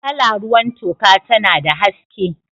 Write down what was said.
Kala ruwan toka tana da haske.